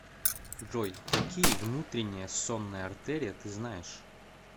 джой какие внутренняя сонная артерия ты знаешь